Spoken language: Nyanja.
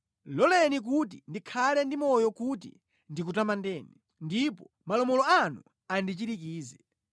Loleni kuti ndikhale ndi moyo kuti ndikutamandeni, ndipo malamulo anu andichirikize.